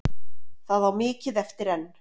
Það á mikið eftir enn.